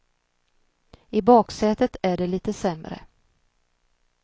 I baksätet är det lite sämre.